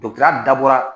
ya dabɔra